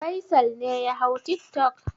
Faisal ne ya hau tiktok?